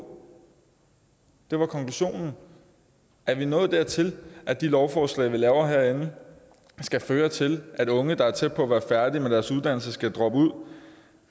det var konklusionen er vi nået dertil at de lovforslag vi laver herinde skal føre til at unge der er tæt på at være færdige med deres uddannelse skal droppe ud